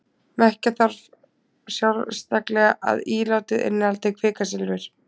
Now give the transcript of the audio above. Merkja þarf sérstaklega að ílátið innihaldi kvikasilfur.